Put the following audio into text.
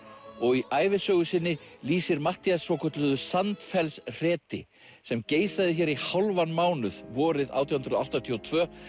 og í ævisögu sinni lýsir Matthías svokölluðu Sandfellshreti sem geisaði hér í hálfan mánuð vorið átján hundruð áttatíu og tvö